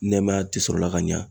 Nɛɛmaya ti sɔrɔla ka ɲa